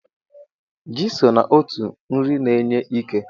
Ji so n'otu nri na-enye ike.